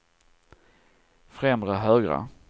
främre högra